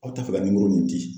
Aw ta fɛ ka nin di.